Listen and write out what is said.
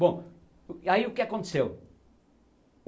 Bom, aí o que aconteceu?